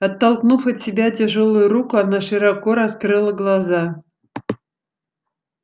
оттолкнув от себя тяжёлую руку она широко раскрыла глаза